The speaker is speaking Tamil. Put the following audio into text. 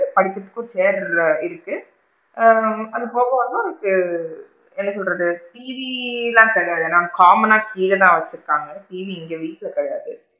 அதுக்கு அப்பறம் chair இருக்குது ஆ அது போக வந்து ஒரு ஆ என்ன சொல்றது டிவி லா கிடையாது அது common னா கீழ தான் வச்சு இருக்காங்க டிவி இங்க வீட்ல கிடையாது,